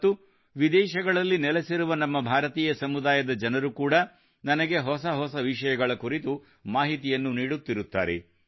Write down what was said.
ಮತ್ತು ವಿದೇಶಗಳಲ್ಲಿ ನೆಲೆಸಿರುವ ನಮ್ಮ ಭಾರತೀಯ ಸಮುದಾಯದ ಜನರು ಕೂಡಾ ನನಗೆ ಹೊಸ ಹೊಸವಿಷಯಗಳ ಕುರಿತು ಮಾಹಿತಿಯನ್ನು ನೀಡುತ್ತಿರುತ್ತಾರೆ